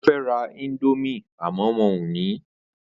O fẹ́ ra indomie àmọ́ wọn ò ní